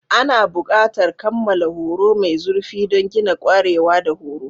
Ana buƙatar kammala horo mai zurfi don gina ƙwarewa da horo.